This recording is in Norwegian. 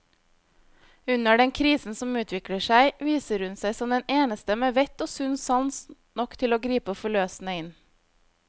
Under den krisen som utvikler seg, viser hun seg som den eneste med vett og sunn sans nok til å gripe forløsende inn.